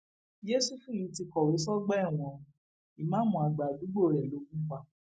yẹsùfù yìí ti kọwé sọgbà ẹwọn o ìmàámu àgbà àdúgbò rẹ ló gùn pa